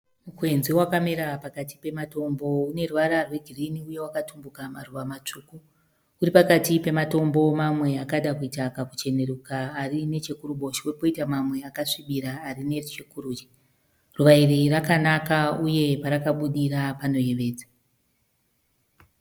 Mukwenzi wakamera pakati pematombo une ruvara rwegirini uye wakatumbuka maruva matsvuku. Uri pakati pematombo mamwe akada kuita kakuchenuruka ari nechekuruboshwe poita mamwe akasvibira ari nechekurudyi. Ruva iri rakanaka uye parakabudira panoyevedza.